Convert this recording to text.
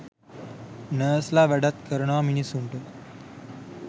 Nurse ල වැඩක් කරනවා මිනිස්සුන්ට.